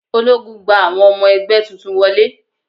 Ológun gba àwọn ọmọ ẹgbẹ́ tuntun wọlé.